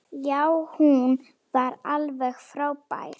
Já, hún var alveg frábær!